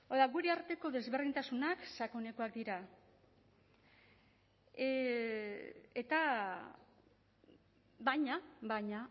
gure arteko desberdintasunak sakonekoak dira baina